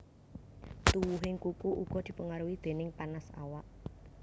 Tuwuhing kuku uga dipengaruhi déning panas awak